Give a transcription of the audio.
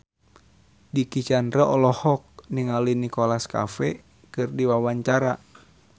Dicky Chandra olohok ningali Nicholas Cafe keur diwawancara